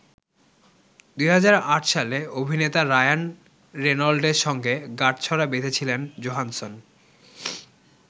২০০৮ সালে অভিনেতা রায়ান রেনল্ডের সঙ্গে গাঁটছড়া বেঁধেছিলেন জোহানসন।